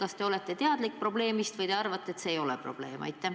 Kas te olete sellest teadlik või arvate, et see ei ole probleem?